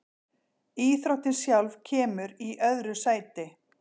Íþróttin sjálf kemur í öðru sæti.